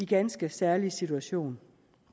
ganske særlig situation